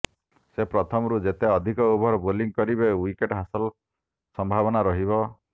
ସେ ପ୍ରଥମରୁ ଯେତେ ଅଧିକ ଓଭର ବୋଲିଂ କରିବେ ଉଇକେଟ ହାସଲ ସମ୍ଭାବନା ରହିବ